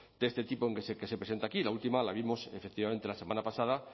de este tipo que se presenta aquí la última la vimos efectivamente la semana pasada